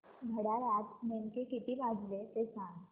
घड्याळात नेमके किती वाजले ते सांग